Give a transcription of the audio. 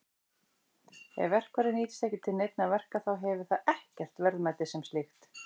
Ef verkfærið nýtist ekki til neinna verka þá hefur það ekkert verðmæti sem slíkt.